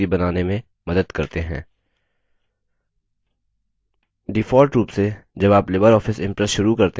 default रूप से जब आप लिबर ऑफिस impress शुरू करते हैं यह इस तरह दिखता है